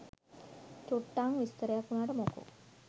චුට්ටං විස්තරයක් වුනාට මොකෝ